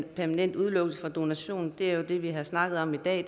permanent udelukkelse fra donation er jo det vi har snakket om i dag